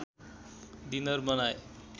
dinner बनाए